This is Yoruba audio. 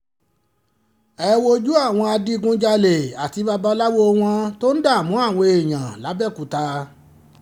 ẹ wojú àwọn adigunjalè àti babaláwo wọn tó ń dààmú àwọn èèyàn làbẹ́ọ̀kúta